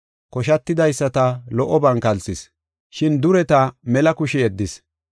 Koshatidaysata lo77oban kalsis, shin dureta mela kushe yeddis.